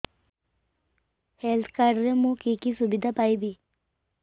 health card ରେ ମୁଁ କି କି ସୁବିଧା ପାଇବି